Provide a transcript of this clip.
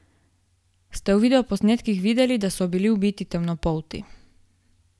Ste v videoposnetkih videli, da so bili ubiti temnopolti?